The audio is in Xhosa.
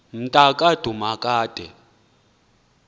mnta ka dumakude